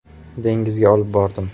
Dengizga olib bordim.